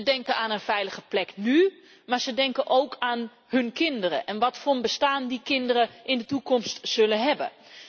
Ze denken aan een veilige plek nu, maar ze denken ook aan hun kinderen en wat voor een bestaan die kinderen in de toekomst zullen hebben.